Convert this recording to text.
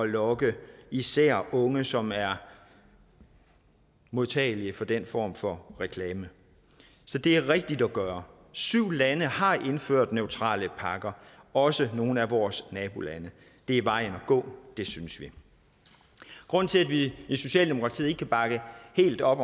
lokke især unge som er modtagelige for den form for reklame så det er rigtigt at gøre syv lande har indført neutrale pakker også nogle af vores nabolande det er vejen at gå det synes vi grunden til at vi i socialdemokratiet ikke kan bakke helt op